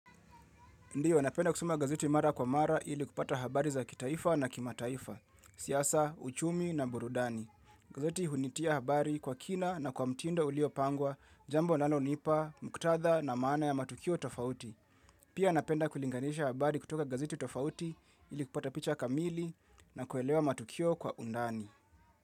Ndio, napenda kusoma gazeti mara kwa mara ili kupata habari za kitaifa na kimataifa, siasa, uchumi na burudani. Gazeti hunitia habari kwa kina na kwa mtindo uliopangwa, jambo linalonipa, muktadha na maana ya matukio tofauti. Pia napenda kulinganisha habari kutoka gazeti tofauti ili kupata picha kamili na kuelewa matukio kwa undani.